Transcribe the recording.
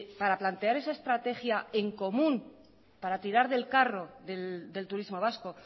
para plantear esa estrategia en común para tirar del carro del turismo vasco